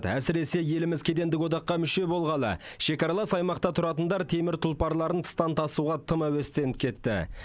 әсіресе еліміз кедендік одаққа мүше болғалы шекаралас аймақта тұратындар темір тұлпарларын тыстан тасуға тым әуестеніп кетті